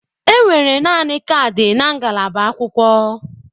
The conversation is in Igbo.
Enwere naanị kaadị na ngalaba akwụkwọ.